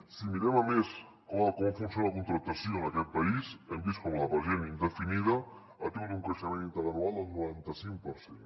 si mirem a més com funciona la contractació en aquest país hem vist com per exemple la indefinida ha tingut un creixement interanual del noranta cinc per cent